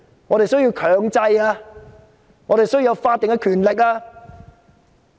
我們需要進行強制調查、需要法定權力。